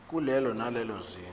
kulelo nalelo zinga